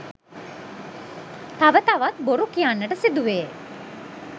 තව තවත් බොරු කියන්නට සිදුවේ.